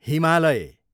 Himalaya